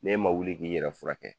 N'e ma wuli k'i yɛrɛ furakɛ kɛ!